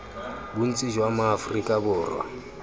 bontsi jwa ma aforika borwa